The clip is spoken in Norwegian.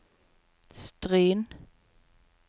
Stryn